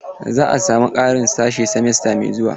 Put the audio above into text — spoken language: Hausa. Za a samu ƙarin sashe simesta mai zuwa.